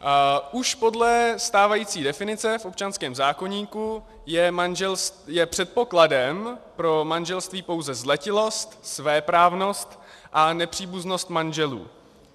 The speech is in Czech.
Už podle stávající definice v občanském zákoníku je předpokladem pro manželství pouze zletilost, svéprávnost a nepříbuznost manželů.